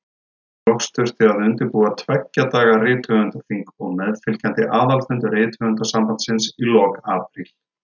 Loks þurfti að undirbúa tveggja daga rithöfundaþing og meðfylgjandi aðalfund Rithöfundasambandsins í lok apríl.